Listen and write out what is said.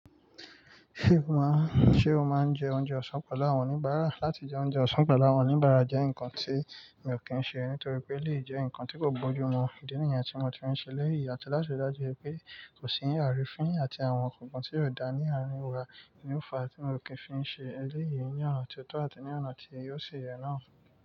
Ṣé o má, ṣe o máa ń jẹ oúnjẹ ọ̀sán pẹ̀lú àwọn oníbàárà? Látijọ́, oúnjẹ ọ̀sán pẹ̀lú àwọn oníbàárà jẹ́ nǹkan tí mi ò kí ń ṣe, nítorí pé lèyẹ́ jẹ́ ǹkan tí kò bójú mu ìdí nìyẹn tí mo ti ń ṣe lẹ́yìn. Àti láti rí i dájú pé kò sí àrífín àti àwọn ǹkan tí ó dá ní àárín wa, ni ó fa tí mi ò kí ń fi ṣe eléyìí ní ọ̀nà tí ó tọ́ àti ní ọ̀nà tí yóò ṣe ìyè náà.